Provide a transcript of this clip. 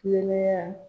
Kulonkɛ